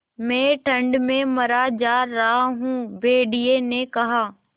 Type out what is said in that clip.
मैं ठंड में मरा जा रहा हूँ भेड़िये ने कहा